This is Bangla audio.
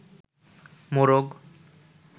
মোরগ